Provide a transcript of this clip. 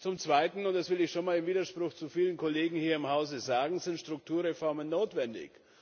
Zum Zweiten das will ich schon einmal im Widerspruch zu vielen Kollegen hier im Hause sagen sind Strukturreformen notwendig.